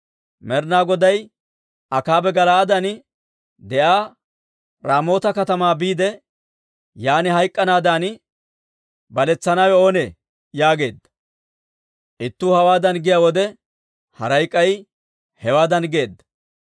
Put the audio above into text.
Med'inaa Goday, Akaabe Gala'aaden de'iyaa Raamoota katamaa biide, yaan hayk'k'anaadan baletsanawe oonee? yaageedda. Ittuu hawaadan giyaa wode, haray k'ay hewaadan geedda.